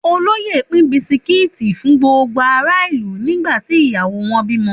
Òloyẹ pin bisiki fún gbogbo àrá ìlú, ni gbati ìyáwò won bìmọ